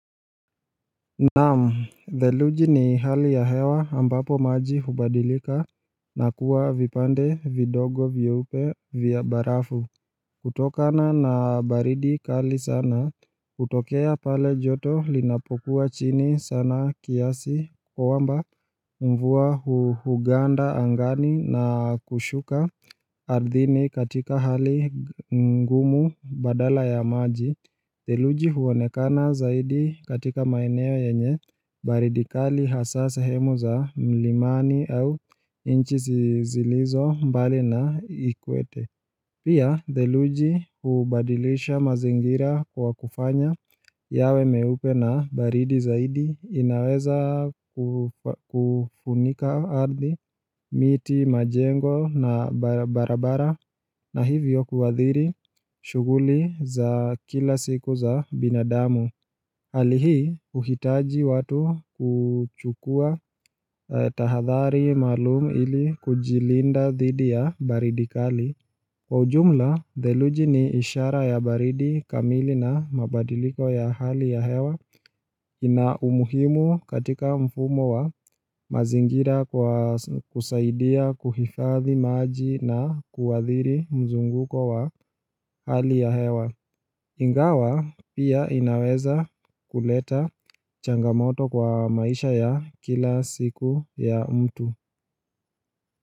Naam, theluji ni hali ya hewa ambapo maji hubadilika na kuwa vipande vidogo vyeupe vya barafu kutokana na baridi kali sana hutokea pale joto linapokuwa chini sana kiasi kwamba, mvua huganda angani na kushuka ardhini katika hali ngumu badala ya maji theluji huonekana zaidi katika maeneo yenye baridi kali hasaa sehemu za mlimani au nchi zilizo mbali na equator. Pia theluji hubadilisha mazingira kwa kufanya yawe meupe na baridi zaidi inaweza kufunika ardhi, miti, majengo na barabara na hivyo kuadhiri shughuli za kila siku za binadamu. Hali hii huhitaji watu kuchukua tahathari maalum ili kujilinda dhidi ya baridi kali. Kwa ujumla, theluji ni ishara ya baridi kamili na mabadiliko ya hali ya hewa ina umuhimu katika mfumo wa mazingira kwa kusaidia kuhifadhi maji na kuadhiri mzunguko wa hali ya hewa Ingawa pia inaweza kuleta changamoto kwa maisha ya kila siku ya mtu.